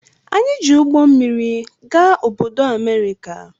Anyị ji ụgbọ mmịrị gaa obodo America.